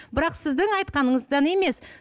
бірақ сіздің айтқаныңыздан емес